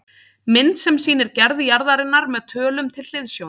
Mynd sem sýnir gerð jarðarinnar með tölum til hliðsjónar